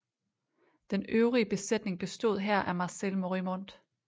Den øvrige besætning bestod her af marcel morimont